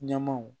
Ɲɛmaw